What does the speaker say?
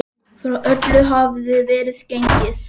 Frá öllu hafði verið gengið.